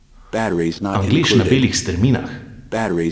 Anglež na belih strminah?